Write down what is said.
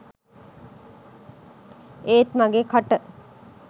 ඒත් මගෙ කට